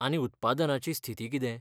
आनी उत्पादनाची स्थिती कितें?